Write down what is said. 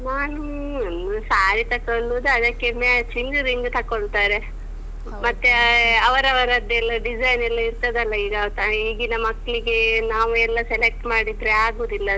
ನಾನು ನಾವ್ ಹ್ಮ್ಂ ಸಾರಿ ತಕ್ಕೊಳ್ಳುದು ಅದಕ್ಕೆ matching ರಿಂಗ್ ತಕೊಳ್ತಾರೆ. ಮತ್ತೆ ಅವರವದೆಲ್ಲಾ design ಎಲ್ಲಾ ಇರ್ತದಲ್ಲ ಈಗ ಅಹ್ ಈಗೀನ ಮಕ್ಳಿಗೆ ನಾವೆಲ್ಲ select ಮಾಡಿದ್ರೆ ಆಗುದಿಲ್ಲ ಅದು.